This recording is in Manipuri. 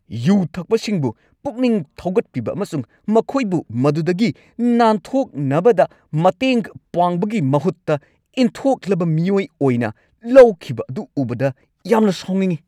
ꯌꯨ ꯊꯛꯄꯁꯤꯡꯕꯨ ꯄꯨꯛꯅꯤꯡ ꯊꯧꯒꯠꯄꯤꯕ ꯑꯃꯁꯨꯡ ꯃꯈꯣꯏꯕꯨ ꯃꯗꯨꯗꯒꯤ ꯅꯥꯟꯊꯣꯛꯅꯕꯗ ꯃꯇꯦꯡ ꯄꯥꯡꯕꯒꯤ ꯃꯍꯨꯠꯇ ꯏꯟꯊꯣꯛꯂꯕ ꯃꯤꯑꯣꯏ ꯑꯣꯏꯅ ꯂꯧꯈꯤꯕ ꯑꯗꯨ ꯎꯕꯗ ꯌꯥꯝꯅ ꯁꯥꯎꯅꯤꯡꯏ ꯫